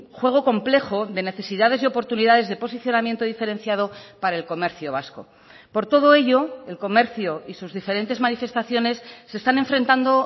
juego complejo de necesidades y oportunidades de posicionamiento diferenciado para el comercio vasco por todo ello el comercio y sus diferentes manifestaciones se están enfrentando